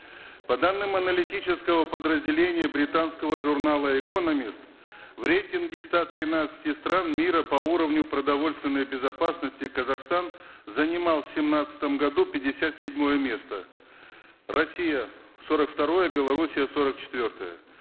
по данным аналитического подразделения британского журнала экономист в рейтинге ста тринадцати стран мира по уровню продовольственной безопасности казахстан занимал в семнадцатом году пятьдесят седьмое место россия сорок второе белоруссия сорок четвертое